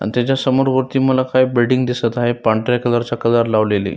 आणि त्याच्या समोरवरती मला काही बिल्डिंग दिसत आहे पांढऱ्या कलर चा कलर लावलेली--